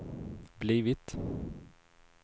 blivit